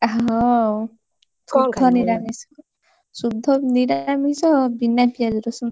ଶୁଦ୍ଧନିରାମିଷ ଶୁଦ୍ଧ ନିରାମିଷ ବିନା ପିଆଜ ରସୁଣ।